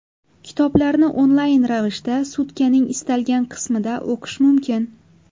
Kitoblarni onlayn ravishda sutkaning istalgan qismida o‘qish mumkin.